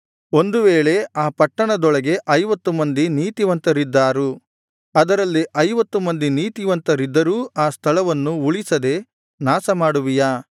ಒಂದು ವೇಳೆ ಆ ಪಟ್ಟಣದೊಳಗೆ ಐವತ್ತು ಮಂದಿ ನೀತಿವಂತರಿದ್ದಾರು ಅದರಲ್ಲಿ ಐವತ್ತು ಮಂದಿ ನೀತಿವಂತರಿದ್ದರೂ ಆ ಸ್ಥಳವನ್ನು ಉಳಿಸದೆ ನಾಶಮಾಡುವಿಯಾ